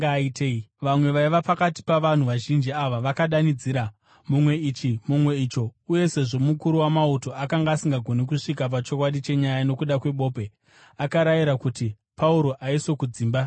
Vamwe vaiva pakati pavanhu vazhinji ava vakadanidzira, mumwe ichi, mumwe icho, uye sezvo mukuru wamauto akanga asingagoni kusvika pachokwadi chenyaya nokuda kwebope, akarayira kuti Pauro aiswe kudzimba dzavarwi.